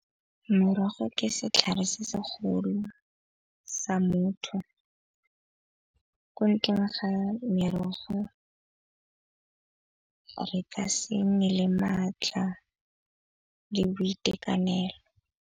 Morogo ke setlhare se se golo sa motho, ko ntleng ga merogo re ka se nne le maatla le boitekanelo.